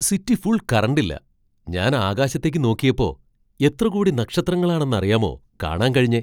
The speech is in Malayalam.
സിറ്റി ഫുൾ കറന്റില്ല, ഞാൻ ആകാശത്തേക്ക് നോക്കിയപ്പോ, എത്ര കോടി നക്ഷത്രങ്ങളാണെന്നറിയാമോ കാണാൻ കഴിഞ്ഞേ.